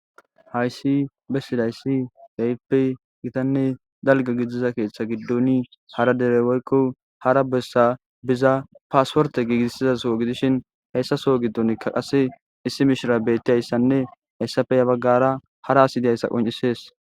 Hayssi bessidaysi ke'ippe gittane dalgga gidiza keeththa giddoni hara dere woykko hara bessa biza passiportte gigisizasso gidishshin hessa Soo gidonikka qasse issi miishshra betiyassanne hessappe ya baggara harra assi dizayssa qoncissees